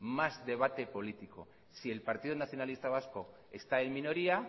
más debate político si el partido nacionalista vasco está en minoría